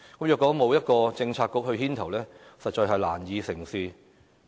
如果沒有一個政策局牽頭，實在難以成事。